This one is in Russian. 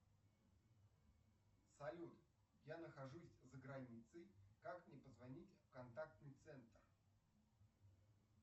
салют я нахожусь за границей как мне позвонить в контактный центр